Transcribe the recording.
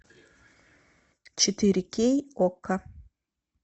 четыре кей окко